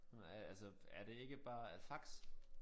Øh altså er det ikke bare øh fax?